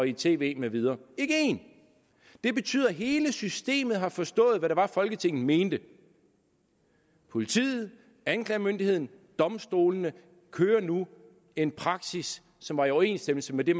i tv med videre det betyder at hele systemet har forstået hvad folketinget mente politiet anklagemyndigheden og domstolene har nu en praksis som er i overensstemmelse med det